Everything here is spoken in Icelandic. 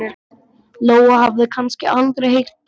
Lóa hafði kannski aldrei heyrt getið.